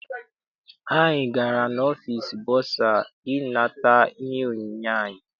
Anyị gara n'ọfịịsi bọsa I nata ihe onyinye anyị.